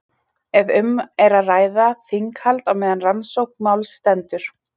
Ef um er að ræða þinghald á meðan rannsókn máls stendur.